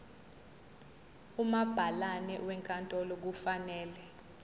umabhalane wenkantolo kufanele